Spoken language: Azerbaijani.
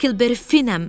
Heklberi Finəm.